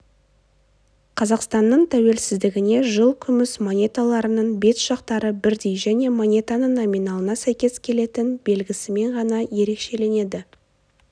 қазақстанның тәуелсіздігіне жыл күміс монеталарының бет жақтары бірдей және монетаның номиналына сәйкес келетін белгісімен ғана ерекшеленеді